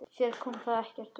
Þér kom það ekkert við!